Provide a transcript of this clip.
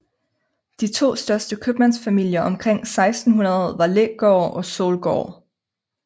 De to største købmandsfamilier omkring 1600 var Lægaard og Solgaard